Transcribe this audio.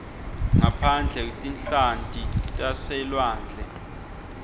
ngaphandle tinhlanti taselwandle